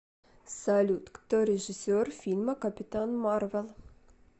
салют кто режиссер фильма капитан марвел